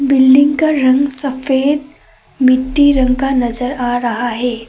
Building का रंग सफेद मिट्टी रंग का नजर आ रहा है।